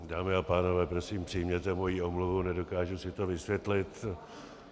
Dámy a pánové, prosím přijměte moji omluvu, nedokážu si to vysvětlit.